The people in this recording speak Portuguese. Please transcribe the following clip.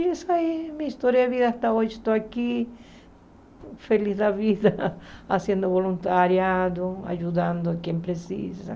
E é isso aí, minha história de vida até hoje, estou aqui feliz da vida, fazendo voluntariado, ajudando quem precisa.